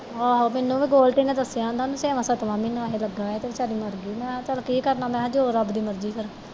ਆਹੋ ਮੈਨੂੰ ਵੀ ਗੋਲਡੀ ਨੇ ਦੱਸਿਆ ਆਹੁੰਦਾ ਕਿ ਉਹਨੂੰ ਛੇਵਾਂ ਸੱਤਵਾਂ ਮਹੀਨਾ ਹੀ ਲੱਗਾ ਤੇ ਵਿਚਾਰੀ ਮੱਰ ਗਈ ਮੈਂ ਕਿਹਾ ਕਿ ਚੱਲ ਕਿ ਕਰਨਾ ਜੋ ਰੱਬ ਦੀ ਮਰਜ਼ੀ ਫਿਰ